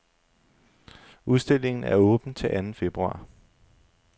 Udstillingen er åben til anden februar.